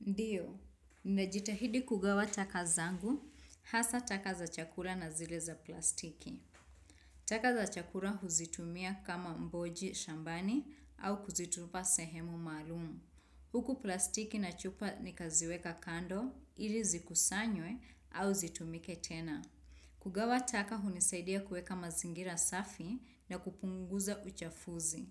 Ndiyo, ninajitahidi kugawa taka zangu, hasa taka za chakula na zile za plastiki. Taka za chakula huzitumia kama mboji shambani, au kuzitupa sehemu maalumu. Huku plastiki na chupa nikaziweka kando, ili zikusanywe au zitumike tena. Kugawa taka hunisaidia kuweka mazingira safi na kupunguza uchafuzi.